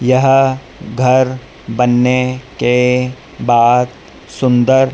यह घर बनने के बाद सुंदर--